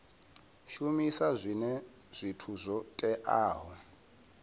shumisa zwinwe zwithu zwo teaho